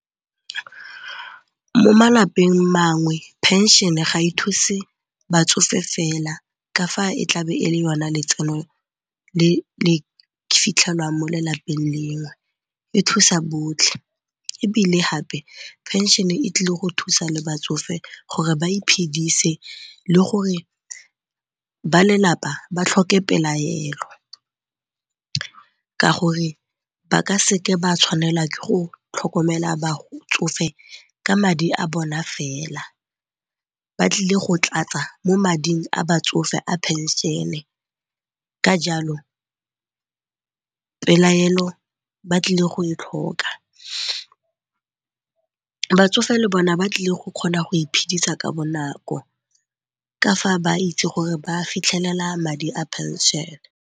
Mo malapeng mangwe phenšene ga e thuse batsofe fela ka fa e tlabe e le yona letseno le le fitlhelwang mo lelapeng lengwe. E thusa botlhe ebile gape phenšene e tlile go thusa le batsofe gore ba iphidise le gore ba lelapa ba tlhoke pelaelo ka gore ba ka seke ba tshwanela ke go tlhokomela batsofe ka madi a bona fela. Ba tlile go tlatsa mo mading a batsofe a phenšene ka jalo pelaelo ba tlile go e tlhoka. Batsofe le bona ba tlile go kgona go iphidisa ka bonako ka fa ba itse gore ba fitlhelela madi a phenšene.